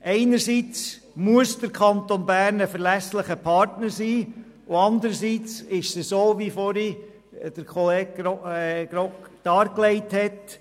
Einerseits muss der Kanton Bern ein verlässlicher Partner sein, und andererseits ist es so, wie es Grossrat Grimm vorhin dargelegt hat: